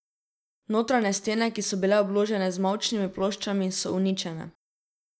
Notranje stene, ki so bile obložene z mavčnimi ploščami, so uničene.